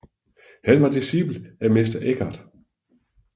Han var dicipel af Mester Eckhart